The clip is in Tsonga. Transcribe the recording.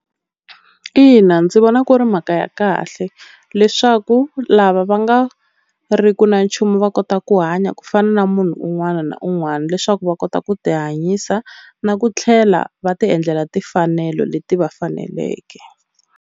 Ina ndzi vona ku ri mhaka ya kahle leswaku lava va nga riku na nchumu va kota ku hanya ku fana na munhu un'wana na un'wana leswaku va kota ku ti hanyisa na ku tlhela va ti endlela timfanelo leti va faneleke.